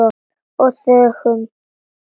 Og þögðum.